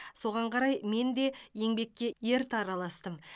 соған қарай мен де еңбекке ерте араластым